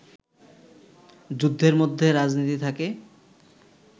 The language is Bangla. যুদ্ধের মধ্যে রাজনীতি থাকে